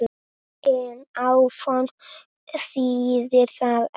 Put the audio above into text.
En áform þýðir það ekki.